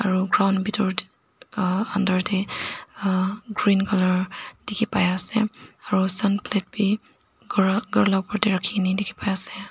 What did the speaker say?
aro ground bitor te uhh ander te uhh green colour dikhi pai ase aro sun plate bi ander te rakhi kena dikhi pai ase.